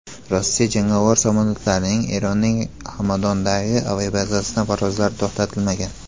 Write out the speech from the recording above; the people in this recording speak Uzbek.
Rossiya jangovar samolyotlarining Eronning Hamadondagi aviabazasidan parvozlari to‘xtatilmagan.